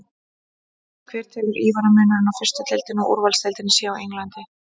Hver telur Ívar að munurinn á fyrstu deildinni og úrvalsdeildinni á Englandi sé?